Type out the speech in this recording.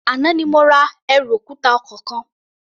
Àná ni mo ra ẹrù òkúta ọkọ̀ kan.